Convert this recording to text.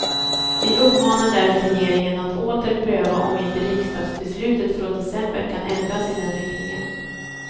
Vi uppmanar därför regeringen att åter pröva om inte riksdagsbeslutet från december kan ändras i den riktningen.